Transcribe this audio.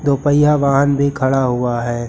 दोपहिया वाहन भी खड़ा हुआ है।